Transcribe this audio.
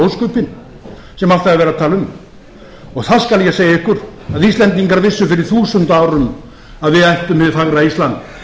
ósköpin sem alltaf er verið að tala um þá skal ég segja ykkur að íslendingar vissu fyrir þúsund árum að við ættum hið fagra ísland